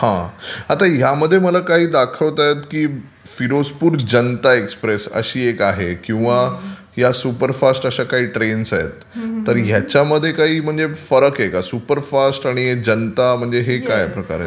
हा आता यामध्ये मला काही दाखवत आहेत की फिरोजपुर जनता एक्सप्रेस अशी एक आहे किंवा या सुपरफास्ट अशा काही ट्रेन्स आहेत तर याच्यामध्ये काही फरक आहे का म्हणजे सुपरफास्ट आणि जनता म्हणजे हा काय प्रकार आहे?